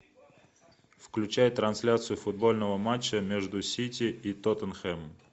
включай трансляцию футбольного матча между сити и тоттенхэмом